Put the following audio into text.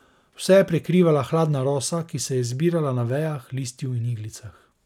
Vse je prekrivala hladna rosa, ki se je zbirala na vejah, listju in iglicah.